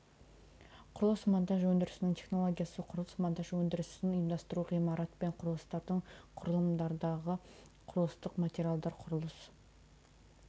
құрылыс монтаж өндірісінің технологиясы құрылыс монтаж өндірісін ұйымдастыру ғимарат пен құрылыстардың құрылымдары құрылыстық материалдар құрылыс